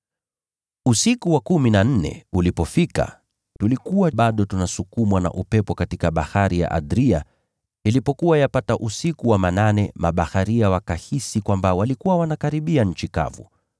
Usiku wa kumi na nne ulipofika, tulikuwa bado tunasukumwa na upepo katika Bahari ya Adria. Ilipokuwa yapata usiku wa manane, mabaharia wakahisi kwamba walikuwa wanakaribia nchi kavu.